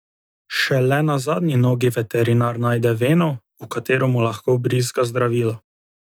Šele na zadnji nogi veterinar najde veno, v katero mu lahko vbrizga zdravilo.